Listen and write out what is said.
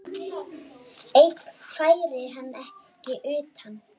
Einn færi hann ekki utan.